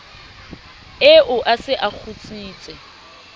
eo a se a kgutsitse